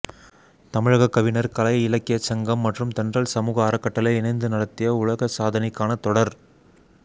தமிழக கவிஞர் கலை இலக்கியச் சங்கம் மற்றும் தென்றல் சமூக அறக்கட்டளை இணைந்து நடத்திய உலக சாதனைக்கான தொடர்